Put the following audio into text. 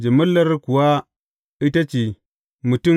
Jimillar kuwa ita ce mutum